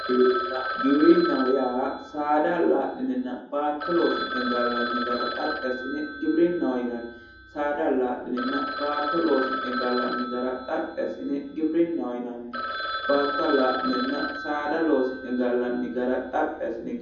Giwirinna, giwirinnaho yaa saada allaa'line baatto loosi'ne gallanni gara xaphi assine giwirinnaho yinanni saada allaa'linenna baatto loosi'ne gallanni gara xaphi assine giwirinnaho yinanni, baatto allaa'linenna saada loosi'ne gallanni gara xaphi assine